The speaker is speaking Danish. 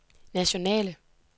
nationale